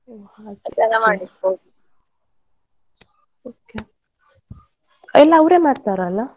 ಹೊ ಹಾಗೆ okay ಎಲ್ಲ ಅವ್ರೆ ಮಾಡ್ತಾರಲ್ಲ.